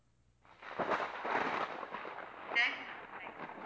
thank you ma'am thank you